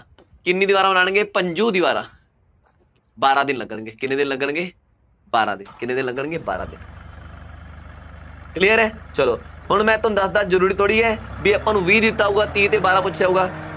ਕਿੰਨੀਆਂ ਦੀਵਾਰਾਂ ਬਣਾਉਣਗੇ, ਪੰਜੋ ਦੀਵਾਰਾਂ, ਬਾਰਾਂ ਦਿਨ ਲੱਗਣਗੇ, ਕਿੰਨੇ ਦਿਨ ਲੱਗਣਗੇ, ਬਾਰਾਂ ਦਿਨ, ਕਿੰਨੇ ਦਿਨ ਲੱਗਣਗੇ, ਬਾਰਾਂ ਦਿਨ, clear ਹੈ ਚੱਲੋ ਹੁਣ ਮੈਂ ਤੁਹਾਨੂੰ ਦੱਸਦਾਂ ਜ਼ਰੂਰੀ ਥੋੜ੍ਹੀ ਹੈ, ਬਈ ਆਪਾਂ ਨੂੰ ਵੀਹ ਦਿੱਤਾ ਹੋਊਗਾ, ਤੀਹ ਦੀਵਾਰਾਂ ਪੁੱਛਿਆ ਹੋਊਗਾ।